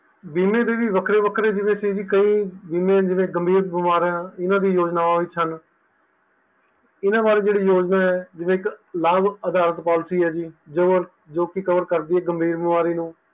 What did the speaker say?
ਬੀਮੇ ਦੇ ਵੀ ਵੱਖਰੇ ਵੱਖਰੇ ਜਿਵੇ ਸੀ ਕਈ ਵਿਸ਼ੇ ਸੀ ਕਈ ਬੀਮੇ ਜਿਵੇ ਕਈ ਬੜੇ ਗੰਭੀਰ ਬਿਮਾਰਾਂ ਦੀਆ ਯੋਜਨਾਵਾਂ ਵਿੱਚ ਹਨ ਇਹਨਾਂ ਬਾਰੇ ਜਿਹੜੀ ਯੋਜਨਾ ਹੈ ਜੀ ਜਿਵੇ ਇੱਕ ਲਾਭ ਅਧਾਰ poilcy ਹੈ ਜੀ ਜੋ ਕਿ cover ਕਰਦੀ ਹੈ ਜੀ ਗੰਭੀਰ ਬਿਮਾਰੀ ਨੂੰ